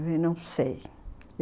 não sei.